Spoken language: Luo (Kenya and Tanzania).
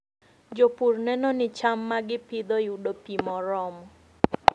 Jopur neno ni cham ma gipidho yudo pi moromo.